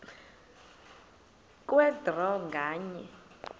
kwe draw nganye